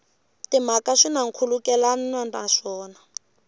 timhaka swi na nkhulukelano naswona